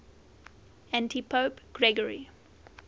antipope gregory